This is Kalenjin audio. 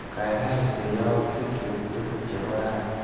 Kaikai istee yautikchu tukul chebo rani.